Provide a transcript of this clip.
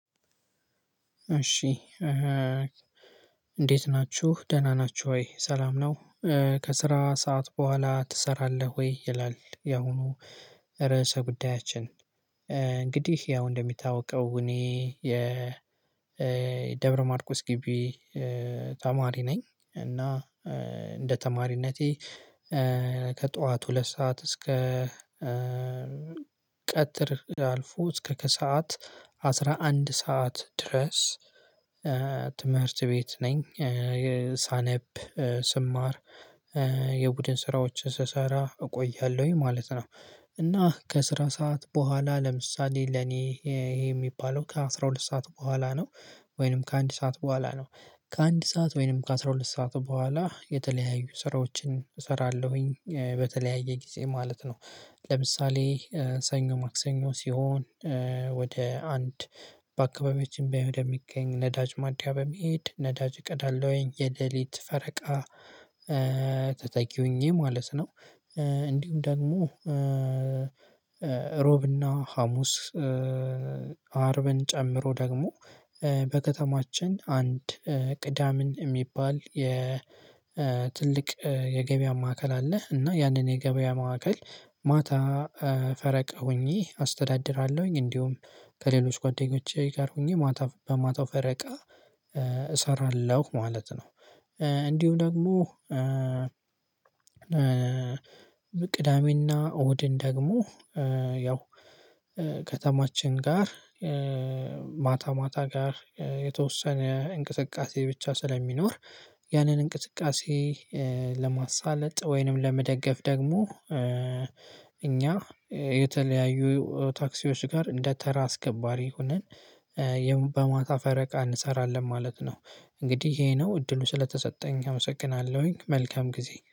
እሺ እንዴት ናችሁ ደህና ናችሁ ወይ ሰላም ነው? ከስራ ሰዓት በኋላ ትሰራለህ ወይ ይላል። ያሁኑ ርዕሰ ጉዳያችን እንግዲህ ያው እንደሚታወቀው እኔ የደብረማርቆስ ግቢ ተማሪ ነኝ። እና እንደ ተማሪነቴ ከጠዋት ሁለት ሰዓት እስከ ቀጥር አልፎ እስከ ከሰአት አስራ አንድ ሰዓት ድረስ ትምህርት ቤት ነኝ የሳነብ ስማር የቡድን ስራዎችን ስሰራ እቆያለሁኝ ማለት ነው። እና ከስራ ሰዓት በኋላ ለምሳሌ ለኔ ይሄ የሚባለው ከአሥራ ሁለት ሰዓት በኋላ ነው። ወይንም ከአንድ ሰዓት በኋላ ነው። ከአንድ ሰዓት ወይንም ከአስራ ሁለት ሰዓት በኋላ የተለያዩ ስራዎችን እሰራለሁኝ በተለያየ ጊዜ ማለት ነው። ለምሳሌ ሰኞ ማክሰኞ ሲሆን ወደ አንድ በአካባቢያችን ወደሚገኝ ነዳጅ ማድያ በመሄድ ነዳጅ እቀዳለውኝ የለሊት ፈረቃ ተተኪ ሆኜ ማለት ነው። እንዲሁም ደግሞ እሮብ እና ሀሙስ አርብን ጨምሮ ደግሞ በከተማችን አንድ ቅዳምን የሚባል የትልቅ የገበያ ማዕከል አለህ እና ያንን የገበያ ማዕከል ማታ ፈረቀ ሆኜ አስተዳድራለሁኝ። እንዲሁም ከሌሎች ጓደኞቼ ጋር ሆኜ ማታ በማታው ፈረቃ እሰራለሁ ማለት ነው። እንዲሁም ደግሞ ቅዳሜና እሁድን ደግሞ ያው ከተማችን ጋር ማታ ማታ ጋር የተወሰነ እንቅስቃሴ ብቻ ስለሚኖር ያንን እንቅስቃሴ ለማሳለጥ ወይንም ለመደገፍ ደግሞ እኛ የተለያዩ ታክሲዎች ጋር እንደ ተራ አስከባሪ ሆነን በማታ ፈረቃ እንሰራለን ማለት ነው። እንግዲህ ይሄ ነው እድሉ ስለተሰጠኝ አመሰግናለሁኝ መልካም ጊዜ